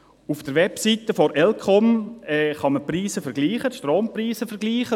Auf der Website der Eidgenössischen Elektrizitätskommission (ElCom) kann man die Strompreise vergleichen.